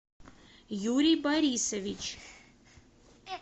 юрий борисович